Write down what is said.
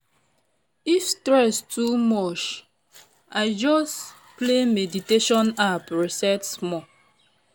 if stress too much i just play meditation app reset small.